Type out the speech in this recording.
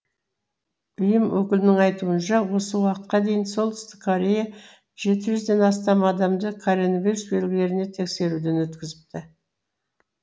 ұйым өкілінің айтуынша осы уақытқа дейін солтүстік корея жеті жүзден астам адамды коронавирус белгілеріне тексеруден өткізіпті